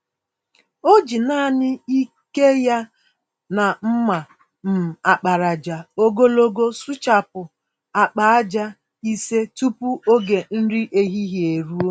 O ji nanị ike ya na mma um àkpàràjà ogologo sụchapụ agba-ájá ise tupu ógè nri ehihie eruo.